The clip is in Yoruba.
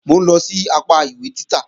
Mò ń lọ sí apá ìwé títà